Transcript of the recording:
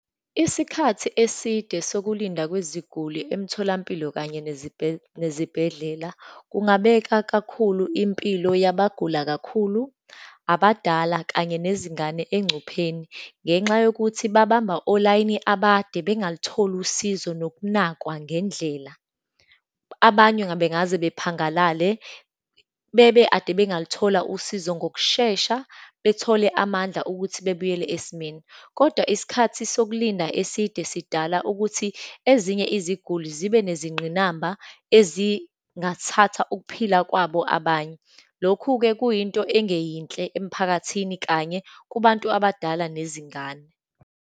Isikhathi eside sokulinda kweziguli emtholampilo kanye nezibhedlela, kungabeka kakhulu impilo yabagula kakhulu, abadala, kanye nezingane engcupheni. Ngenxa yokuthi babamba olayini abade, bengalutholi usizo, nokunakwa ngendlela, abanye ngabe ngaze bephangalale, bebe ade bangaluthola usizo ngokushesha, bethole amandla ukuthi bebuyele esimeni. Kodwa isikhathi sokulinda eside sidala ukuthi ezinye iziguli zibe nezingqinamba ezingathatha ukuphila kwabo abanye. Lokhu-ke kuyinto engeyinhle emphakathini, kanye kubantu abadala, nezingane.